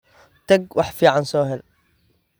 Tag wax fiican soo hel.